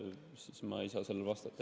Seega ei saa ma sellele vastata.